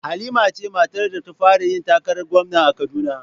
Halima ce matar da ta fara yin takarar gwamna a Kaduna